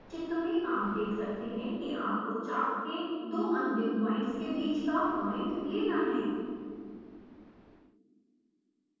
चित्र में आप देख सकते हैं कि आपको चाप के दो अंतिम पॉइंट्स के बीच का पॉइंट लेना है